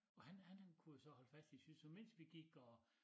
Og han han kunne jo så holde fast i sit så mens vi gik og